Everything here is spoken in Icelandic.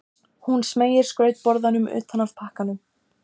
Þær niðurstöður jarðfræðirannsókna sem líkanið byggist á eru þessar